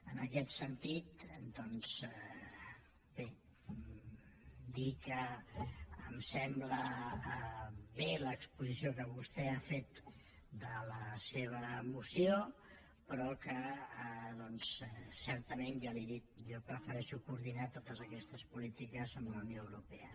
en aquest sentit doncs bé dir que em sembla bé l’exposició que vostè ha fet de la seva moció però que certament ja li ho he dit jo prefereixo coordinar totes aquestes polítiques amb la unió europea